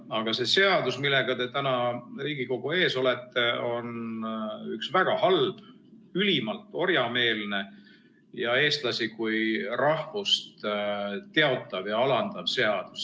Aga see seadus, millega te täna Riigikogu ees olete, on üks väga halb, ülimalt orjameelne ja eestlasi kui rahvust teotav ja alandav seadus.